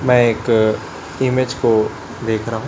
मैं एक इमेज को देख रहा--